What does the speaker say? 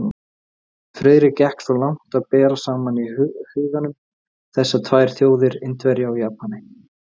Friðrik gekk svo langt að bera saman í huganum þessar tvær þjóðir, Indverja og Japani.